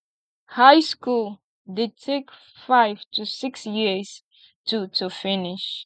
high school de take five to six years to to finish